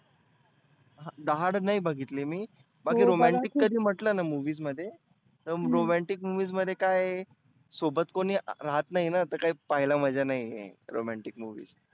the hard नाही बघितली मी. बाकी romantic कधी म्हटलंना movies मध्ये तर romantic movies मध्ये काय आहे सोबत कोणी राहत नाहीना तर काही पहायला मजा नाहिए romantic movies